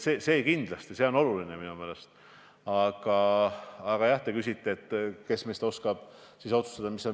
Sellise tuulikute arvu korral tasub kenasti ära Eestisse tuulikute tootmiseks näiteks tehase rajamine.